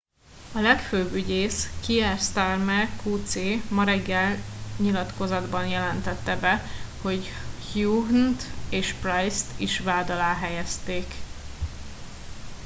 a legfőbb ügyész kier starmer qc ma reggel nyilatkozatban jelentette be hogy huhne t és pryce t is vád alá helyezték